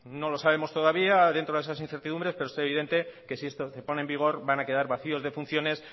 no lo sabemos todavía dentro de esas incertidumbres pero es evidente que si esto se pone en vigor van a quedar vacíos de funciones